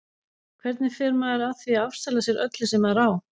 Hvernig fer maður að því að afsala sér öllu sem maður á?